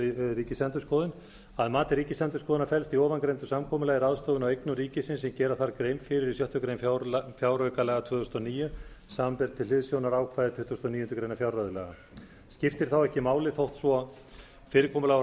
ríkisendurskoðun að mati ríkisendurskoðunar felst í ofangreindu samkomulagi ráðstöfun á eignum ríkisins sem gera þarf grein fyrir í sjöttu grein fjáraukalaga tvö þúsund og níu samanber til hliðsjónar ákvæði tuttugasta og níundu grein fjárreiðulaga skiptir þá ekki máli þótt fyrirkomulag og